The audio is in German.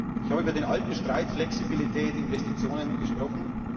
Ich habe über den alten Streit Flexibilität, Investitionen gesprochen.